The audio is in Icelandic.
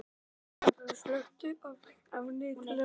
Dagbjörg, slökktu á niðurteljaranum.